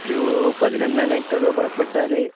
ഒരു പതിനൊന്നുമണിക്കൊക്കെ പുറപ്പെട്ടാല്